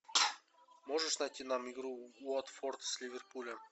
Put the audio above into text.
можешь найти нам игру уотфорд с ливерпулем